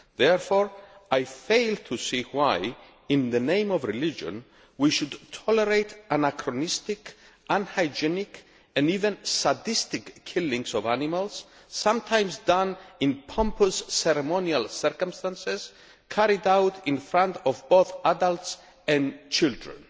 Therefore, I fail to see why, in the name of religion, we should tolerate anachronistic, unhygienic and even sadistic killings of animals, sometimes done in pompous ceremonial circumstances, carried out in front of both adults and children.